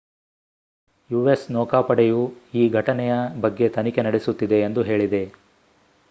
US ನೌಕಾಪಡೆಯು ಈ ಘಟನೆಯ ಬಗ್ಗೆ ತನಿಖೆ ನಡೆಸುತ್ತಿದೆ ಎಂದು ಹೇಳಿದೆ